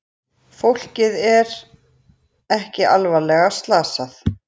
Fólkið er ekki alvarlega slasað